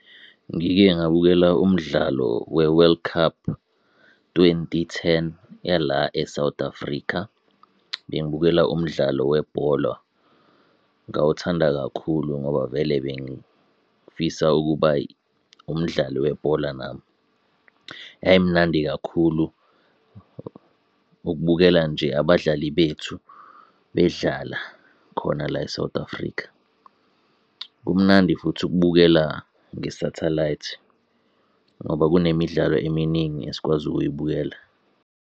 Ngike ngabukela umdlalo we-World Cup Twenty Ten yala eSouth Africa, bengibukela umdlalo webhola. Ngawuthanda kakhulu ngoba vele bengifisa ukuba umdlali webhola nami. Yayimnandi kakhulu ukubukela nje abadlali bethu bedlala khona la eSouth Africa. Kumnandi futhi ukubukela ngesathalayithi ngoba kunemidlalo eminingi esikwazi ukuyibukela.